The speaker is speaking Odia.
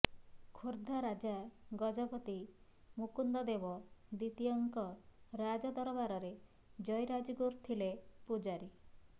ଖୋର୍ଦ୍ଧା ରାଜା ଗଜପତି ମୁକୁନ୍ଦ ଦେବ ଦ୍ୱିତୀୟଙ୍କ ରାଜଦରବାରରେ ଜୟୀ ରାଜଗୁରୁ ଥିଲେ ପୂଜାରୀ